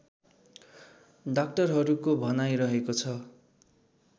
डाक्टरहरूको भनाइ रहेको छ